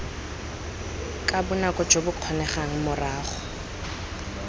ka bonako jo bokgonegang morago